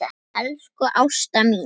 Elsku Ásta mín.